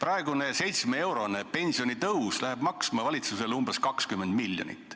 See 7-eurone pensionitõus läheb valitsusele maksma umbes 20 miljonit.